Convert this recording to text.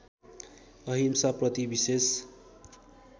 अहिंसा प्रति विशेष